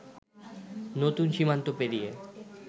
নতুন সীমান্ত পেরিয়ে